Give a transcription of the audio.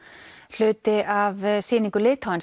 hluti af sýningu